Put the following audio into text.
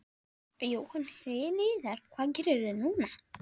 Jóhann Hlíðar: Hvað gerirðu núna?